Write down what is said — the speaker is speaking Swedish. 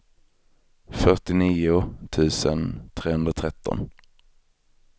fyrtionio tusen trehundratretton